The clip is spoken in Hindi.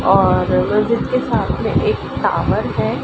और मस्जिद के साथ मे एक टॉवर है।